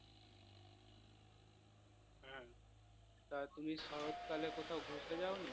তা তুমি শরৎ কালে কোথাও ঘুরতে যাওনি?